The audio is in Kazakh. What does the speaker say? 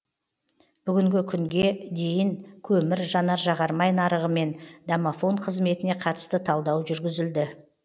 бүгінгі күнге дейін көмір жанар жағармай нарығы мен домофон қызметіне қатысты талдау жүргізілді